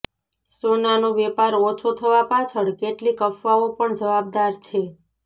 સોનાનો વેપાર ઓછો થવા પાછળ કેટલીક અફવાઓ પણ જવાબદાર છે